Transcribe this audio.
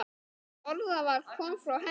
Það orðaval kom frá henni.